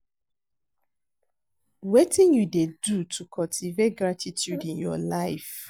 Wetin you dey do to cultivate gratituude in your life?